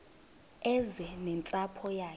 eze nentsapho yayo